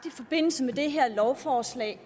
i forbindelse med det her lovforslag